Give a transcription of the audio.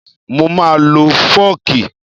Mo máa lo fọ́ọ̀kì